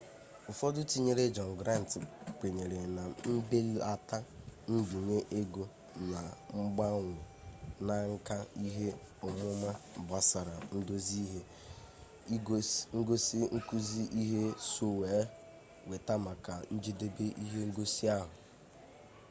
ụfọdụ tinyere jọn grant kwenyere na mbelata mbinye ego na mgbanwe na nka ihe ọmụma gbasara ndozi ihe ngosi nkuzi ihe so weta maka njedebe ihe ngosi ahụ